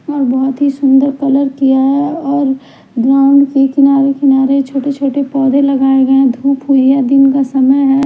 और बहुत ही सुंदर कलर किया है और ग्राउंड के किनारे किनारे छोटे-छोटे पौधे लगाए गए हैं धूप हुई है दिन का समय है।